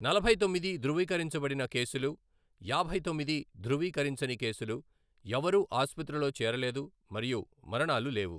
నలభై తొమ్మిది ధృవీకరించబడిన కేసులు, యాభై తొమ్మిది ధృవీకరించని కేసులు, ఎవరూ ఆసుపత్రిలో చేరలేదు మరియు మరణాలు లేవు.